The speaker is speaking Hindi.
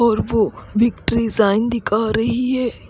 और वो विक्ट्री साईन दिखा रही है।